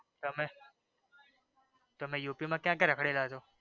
તમે UK માં ક્યાં ક્યાં ર્રાખડેલા છો